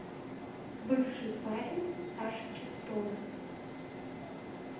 бывший парень саши чистовой